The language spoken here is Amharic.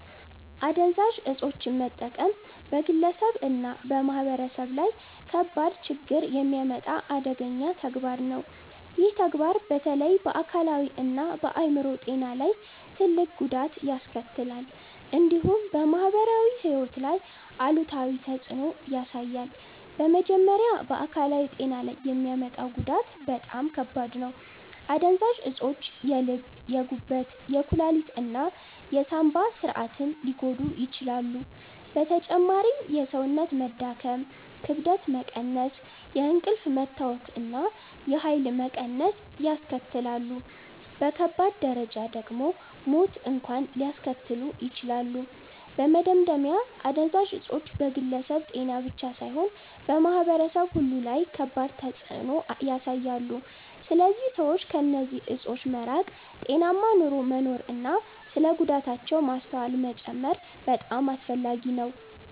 አደንዛዥ እፆችን መጠቀም በግለሰብ እና በማህበረሰብ ላይ ከባድ ችግኝ የሚያመጣ አደገኛ ተግባር ነው። ይህ ተግባር በተለይ በአካላዊ እና በአይምሮ ጤና ላይ ትልቅ ጉዳት ያስከትላል፣ እንዲሁም በማህበራዊ ሕይወት ላይ አሉታዊ ተፅዕኖ ያሳያል። በመጀመሪያ በአካላዊ ጤና ላይ የሚያመጣው ጉዳት በጣም ከባድ ነው። አደንዛዥ እፆች የልብ፣ የጉበት፣ የኩላሊት እና የሳንባ ስርዓትን ሊጎዱ ይችላሉ። በተጨማሪም የሰውነት መዳከም፣ ክብደት መቀነስ፣ የእንቅልፍ መታወክ እና የኃይል መቀነስ ያስከትላሉ። በከባድ ደረጃ ደግሞ ሞት እንኳን ሊያስከትሉ ይችላሉ። በመደምደሚያ አደንዛዥ እፆች በግለሰብ ጤና ብቻ ሳይሆን በማህበረሰብ ሁሉ ላይ ከባድ ተፅዕኖ ያሳያሉ። ስለዚህ ሰዎች ከእነዚህ እፆች መራቅ፣ ጤናማ ኑሮ መኖር እና ስለ ጉዳታቸው ማስተዋል መጨመር በጣም አስፈላጊ ነው።